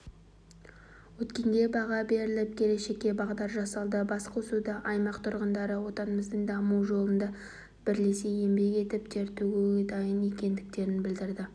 өткенге баға беріліп келешекке бағдар жасалды басқосуда аймақ тұрғындары отанымыздың дамуы жолында бірлесе еңбек етіп тер төгуге дайын екендіктерін білдірді